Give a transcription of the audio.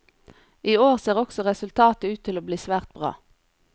I år ser også resultatet ut til å bli svært bra.